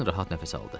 Kerin rahat nəfəs aldı.